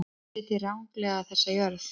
Þið sitjið ranglega þessa jörð.